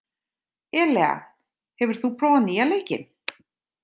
Elea, hefur þú prófað nýja leikinn?